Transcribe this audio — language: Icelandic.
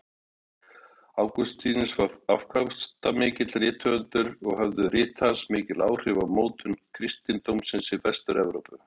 Ágústínus var afkastamikill rithöfundur og höfðu rit hans mikil áhrif á mótun kristindómsins í Vestur-Evrópu.